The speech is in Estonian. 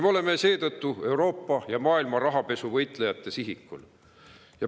Me oleme seetõttu Euroopa ja maailma rahapesu võitlejate sihikul.